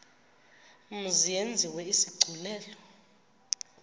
mzi yenziwe isigculelo